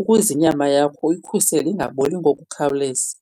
ukuze inyama yakho uyikhusele ingaboli ngokukhawuleza.